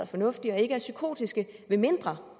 fornuftige og ikke er psykotiske medmindre